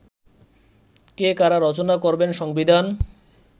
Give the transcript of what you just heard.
কে, কারা রচনা করবেন সংবিধান